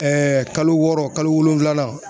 Ɛɛ kalo wɔɔrɔ kalo wolonwulanan